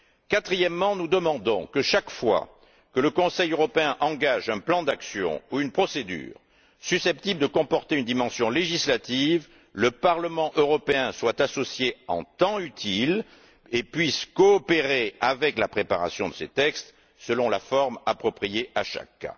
Quatrièmement, nous demandons que, chaque fois que le Conseil européen engage un plan d'action ou une procédure susceptible de comporter une dimension législative, le Parlement européen soit associé en temps utile et puisse coopérer à la préparation de ces textes selon la forme appropriée à chacun.